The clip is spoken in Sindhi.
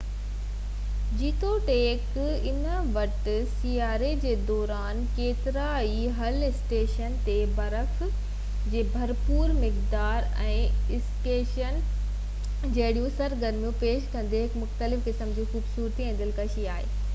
جيتوڻيڪ انهن وٽ سياري جي دوران ڪيترن ئي هِل اسٽيشنن تي برف جي ڀرپور مقدار ۽ اسڪيئنگ ۽ سنوبورڊنگ جهڙيون سرگرميون پيش ڪندي هڪ مختلف قسم جي خوبصورتي ۽ دلڪشي آهي